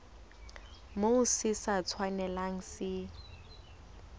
moo se sa tshwanelang se